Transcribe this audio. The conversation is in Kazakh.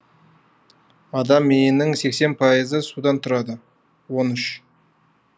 адам миының сексен пайызы судан тұрады он үш